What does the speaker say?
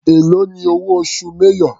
Èló ni owó oṣù major.